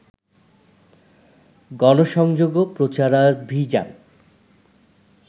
গণসংযোগও প্রচারাভিযান